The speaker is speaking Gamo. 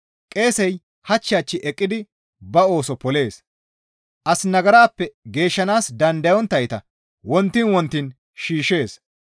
Qeesey hach hach eqqidi ba ooso polees; as nagarappe geeshshanaas dandayonttayta wontiin wontiin shiishshees.